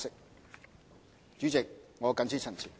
代理主席，我謹此陳辭。